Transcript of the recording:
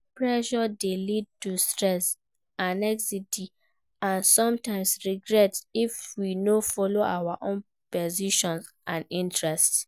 Pressure dey lead to stress, anxiety and sometimes, regret if we no follow our own passions and interests.